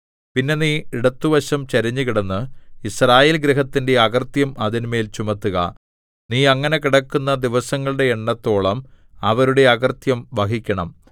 പിന്നെ നീ ഇടത്തുവശം ചരിഞ്ഞുകിടന്ന് യിസ്രായേൽ ഗൃഹത്തിന്റെ അകൃത്യം അതിന്മേൽ ചുമത്തുക നീ അങ്ങനെ കിടക്കുന്ന ദിവസങ്ങളുടെ എണ്ണത്തോളം അവരുടെ അകൃത്യം വഹിക്കണം